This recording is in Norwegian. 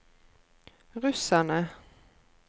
russerne